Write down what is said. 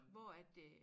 Hvor at øh